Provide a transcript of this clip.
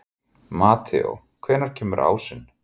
Mateó, hvenær kemur ásinn?